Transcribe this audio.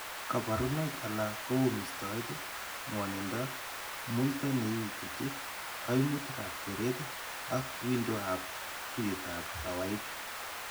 Kabarunoik alak ko u mistoet, ng'wanindo, muito ne iututi , kaimutikab keret ak wiindoab tuiyetab kawaik.